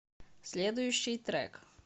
следующий трек